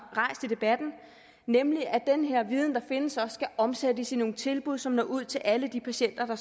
rejst i debatten nemlig at den her viden der findes også skal omsættes i nogle tilbud som når ud til alle de patienter der